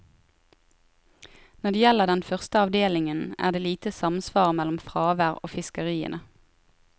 Når det gjelder den første avdelingen, er det lite samsvar mellom fravær og fiskeriene.